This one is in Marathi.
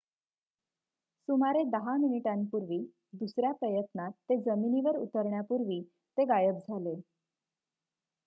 सुमारे 10 मिनिटांपूर्वी दुसऱ्या प्रयत्नात ते जमिनीवर उतरण्यापूर्वी ते गायब झाले